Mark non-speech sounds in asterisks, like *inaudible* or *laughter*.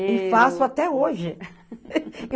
E faço até hoje. *laughs*